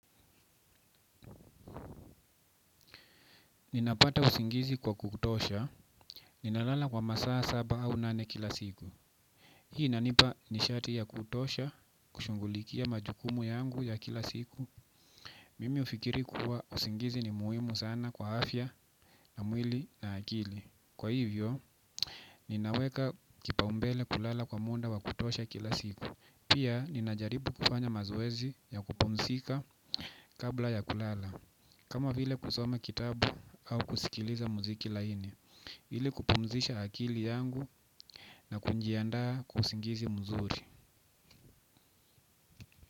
Ninapata usingizi wa kutosha, ninalala kwa masaa saba au nane kila siku. Hii inanipa nishati ya kutosha, kushughulikia majukumu yangu ya kila siku. Mimi ufikiri kuwa usingizi ni muhimu sana kwa afya na mwili na akili. Kwa hivyo, ninaweka kipaumbele kulala kwa muda wa kutosha kila siku. Pia, ninajaribu kufanya mazoezi ya kupumzika kabla ya kulala. Kama vile kusoma kitabu au kusikiliza muziki laini ili kupumzisha akili yangu na kujiandaa kwa usingizi mzuri.